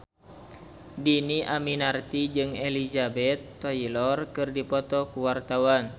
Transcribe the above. Dhini Aminarti jeung Elizabeth Taylor keur dipoto ku wartawan